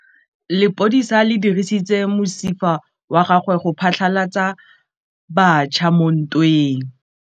Lepodisa le dirisitse mosifa wa gagwe go phatlalatsa batšha mo ntweng.